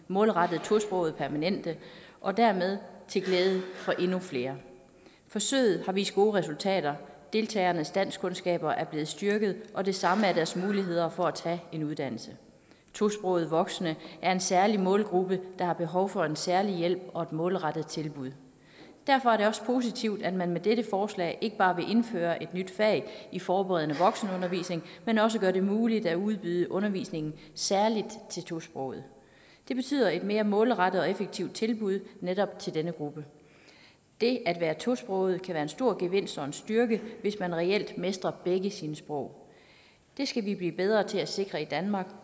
målrettet tosprogede permanente og dermed til glæde for endnu flere forsøget har vist gode resultater deltagernes danskkundskaber er blevet styrket og det samme er deres muligheder for at tage en uddannelse tosprogede voksne er en særlig målgruppe der har behov for en særlig hjælp og et målrettet tilbud derfor er det også positivt at man med dette forslag ikke bare vil indføre et nyt fag i forberedende voksenundervisning men også gøre det muligt at udbyde undervisningen særligt til tosprogede det betyder et mere målrettet og effektivt tilbud netop til denne gruppe det at være tosproget kan være en stor gevinst og en styrke hvis man reelt mestrer begge sine sprog det skal vi blive bedre til at sikre i danmark